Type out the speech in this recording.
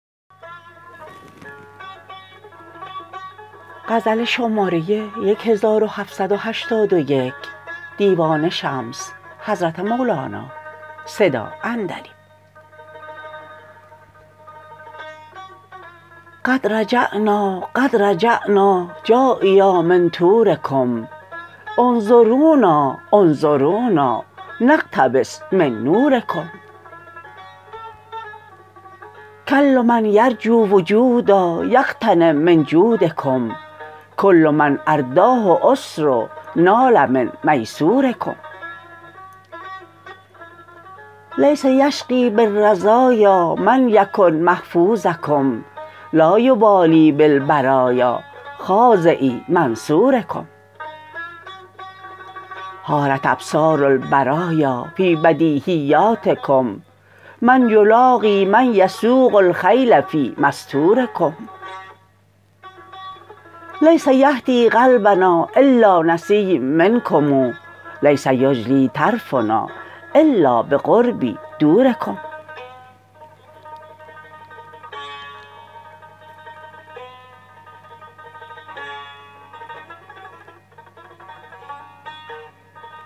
قد رجعنا قد رجعنا جاییا من طورکم انظرونا انظرونا نقتبس من نورکم کل من یرجو وجودا یغتنم من جودکم کل من ارداه عسر نال من میسورکم لیس یشقی بالرزایا من یکن محفوظکم لا یبالی بالبرایا خاضعی منصورکم حارت ابصار البرایا فی بدیهیاتکم من یلاقی من یسوق الخیل فی مستورکم لیس یهدی قلبنا الا نسیم منکم لیس یجلی طرفنا الا بقربی دورکم